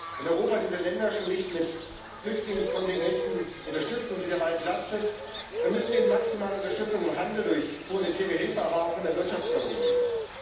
Wenn Europa diese Länder schon nicht mit Flüchtlingskontingenten unterstützt und sie dabei entlastet, müssen wir ihnen maximale Unterstützung im Handel, durch humanitäre Hilfe, aber auch durch Wirtschaftsförderung geben.